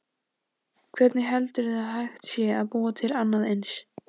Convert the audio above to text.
Hvernig heldurðu að hægt sé að búa til annað eins?